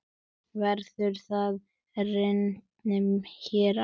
Verður það raunin hér á?